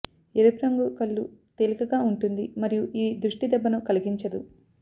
ఎరుపు రంగు కళ్ళు తేలికగా ఉంటుంది మరియు ఇది దృష్టి దెబ్బను కలిగించదు